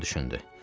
Loran düşündü.